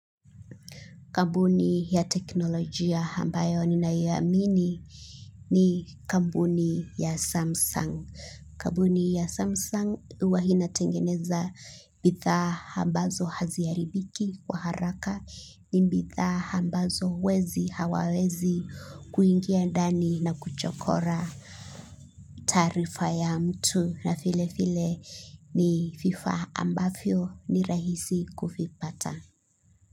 Kampuni ya teknolojia ambayo ninaiamini ni kampuni ya Samsung. Kampuni ya Samsung huwa inatengeneza bidhaa ambazo haziharibiki kwa haraka ni bidhaa ambazo wezi hawawezi kuingia ndani na kuchokora tarifa ya mtu na vile vile ni vifaa ambavyo ni rahisi kuvipata.